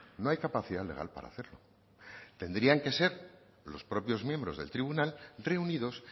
no hay capacidad legal para hacerlo tendrían que ser los propios miembros del tribunal reunidos